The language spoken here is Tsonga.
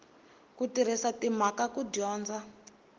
ku tirhisa timhaka ku dyondza